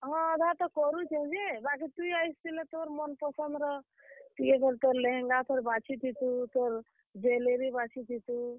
ହଁ, ଅଧା ତ କରୁଛେଁ ଯେ, ବାକି ତୁଇ ଆସିଥିଲେ ତୋର ମନ ପସନ୍ଦର ତୁଇ ତୋର ଲେହେଙ୍ଗା ଫେର୍ ବାଛିଥିତୁ, ତୋର, jewellery ବାଛିଥିତୁ।